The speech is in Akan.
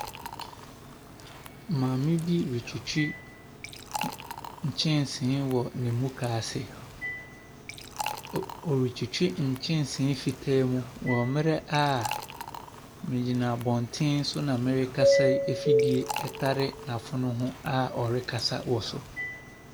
Maame bi retwitwi nkyɛnsee wɔ ne muka ase. Ɔretwtwi nkyɛnsee fitaa mu wɔ mmerɛ a meegyina abɔntenso na merekasa yi afidie a ɔrekasa wɔ so.